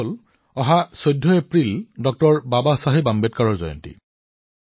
সেইটো হৈছে ১৪ এপ্ৰিল ড০ বাবা চাহেব আম্বেদকাৰৰ জন্মজয়ন্তী